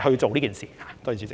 去做這事。